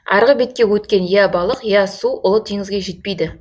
арғы бетке өткен я балық я су ұлы теңізге жетпейді